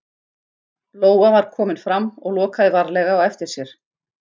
Lóa var komin fram og lokaði varlega á eftir sér.